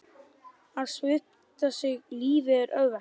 Að svipta sig lífi er auðvelt.